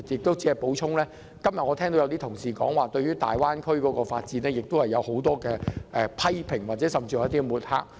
我想補充，今天部分議員對於粵港澳大灣區發展有很多批評，甚至作出抹黑。